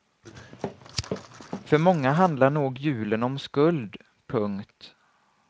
För många handlar nog julen om skuld. punkt